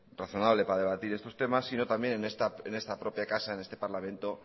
razonable para debatir estos temas sino también en esta propia casa en este parlamento